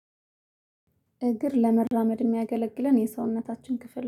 እግር ለመራመድ ሚያገለግለን የሰውነታችን ክፍል